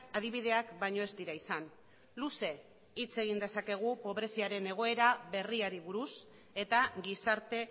adibideak baino ez dira izan luze hitz egin dezakegu pobreziaren egoera berriari buruz eta gizarte